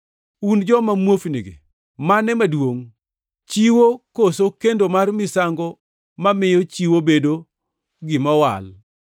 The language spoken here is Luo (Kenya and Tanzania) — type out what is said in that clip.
Un joma muofnigi! Mane maduongʼ: Chiwo koso kendo mar misango mamiyo chiwo bedo gima owal?